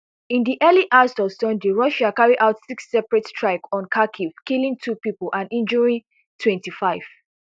in di early hours of sunday russia carry out six separate strikes on kharkiv killing two pipo and injuring twenty-five